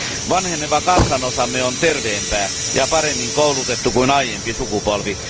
Vanheneva kansanosamme on terveempää ja paremmin koulutettua kuin aiempi sukupolvi.